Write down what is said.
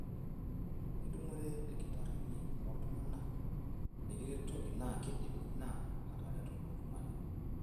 Tenitumore ilkitarrini oltung'ana likiretoki naa keidim ina atareto oltung'ani.